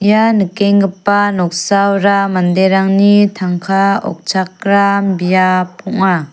ia nikenggipa noksaora manderangni tangka okchakram biap ong·a.